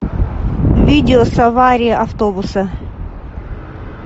видео с аварии автобуса